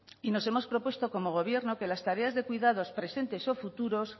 y nos hemos propuesto como gobierno que las tareas de cuidados presentes o futuros